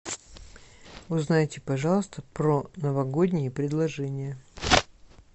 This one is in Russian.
узнайте пожалуйста про новогодние предложения